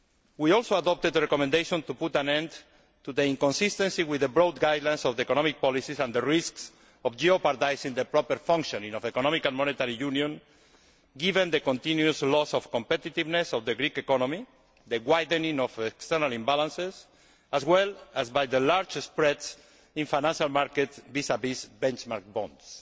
We also adopted the recommendation to put an end to the inconsistency with the broad guidelines of the economic policies and the risks of jeopardising the proper functioning of economic and monetary union, given the continuous loss of competitiveness of the Greek economy, and the widening of external imbalances as well as by the large spread in financial markets vis vis benchmark